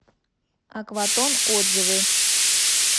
акватон отзывы